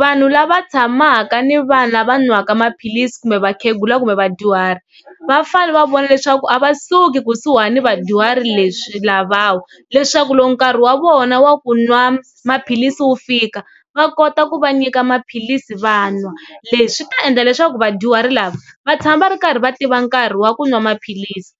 Vanhu lava tshamaka ni vanhu lava n'waka maphilisi kumbe vakhegula kumbe vadyuhari vafane va vona leswaku a va suki kusuhani vadyuhari leswi lavawa leswaku loko nkarhi wa vona wa ku n'wa maphilisi wu fika va kota ku va nyika maphilisi va n'wa, leswi swi ta endla leswaku vadyuhari lava va tshama va ri karhi va tiva nkarhi wa ku n'wa maphilisi